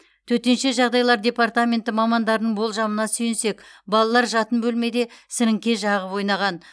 төтенше жағдайлар департаменті мамандарының болжамына сүйенсек балалар жатын бөлмеде сіріңке жағып ойнаған